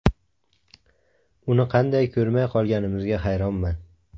Uni qanday ko‘rmay qolganimizga hayronman.